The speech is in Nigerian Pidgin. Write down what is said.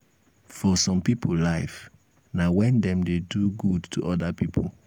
for some pipo life na when dem dey do good to oda pipo